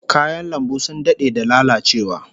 Kayan lambun sun dade da lalacewa